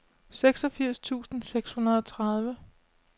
seksogfirs tusind seks hundrede og tredive